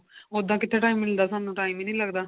ਉਦਾਂ ਕਿੱਥੇ time ਮਿਲਦਾ ਸਾਨੂੰ time ਈ ਨੀ ਲੱਗਦਾ